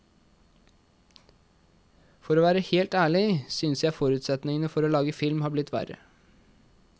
For å være helt ærlig, syns jeg forutsetningene for å lage film har blitt verre.